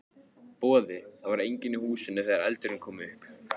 Boði: Það var enginn í húsinu þegar eldurinn kom upp?